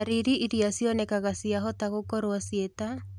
Ndariri iria cionekanaga ciahota gũkorwo ciĩ ta